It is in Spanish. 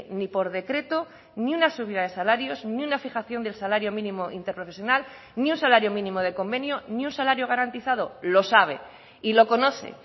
ni por decreto ni una subida de salarios ni una fijación del salario mínimo interprofesional ni un salario mínimo de convenio ni un salario garantizado lo sabe y lo conoce